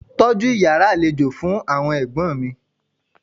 Tọ́jú Ìyàrá àlejò fún àwọn ẹ̀gbọ́n mi.